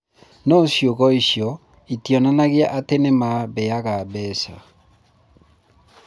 No ciugo icio itionanagia atĩ nĩ mambeaga mbeca.